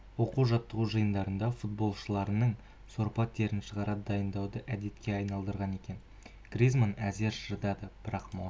оқу-жаттығу жиындарында футболшыларының сорпа терін шығара дайындауды әдетке айналдырған екен гризманн әзер шыдады бірақ маусым